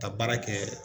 Ka baara kɛ